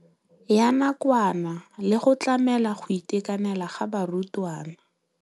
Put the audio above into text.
Ya nakwana le go tlamela go itekanela ga barutwana.